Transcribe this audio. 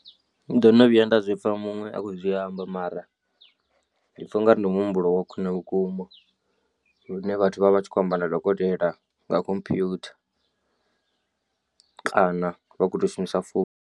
Ndo no vhuya nda zwi pfha muṅwe a khou zwi amba mara ndi pfha ungari ndi muhumbulo wa khwine vhukuma lune vhathu vha vha vha tshi khou amba na dokotela nga computer kana vha khou tou shumisa founu.